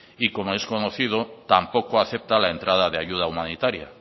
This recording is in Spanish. y como es conocido tampoco acepta la entrada de ayuda humanitaria